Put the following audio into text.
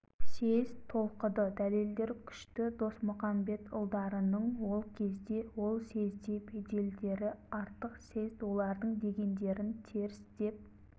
съезд толқыды дәлелдер күшті досмұқамбетұлдарының ол кезде ол съезде беделдері артық съезд олардың дегендерін теріс деп